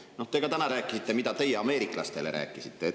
Te ka täna, mida te ameeriklastele rääkisite.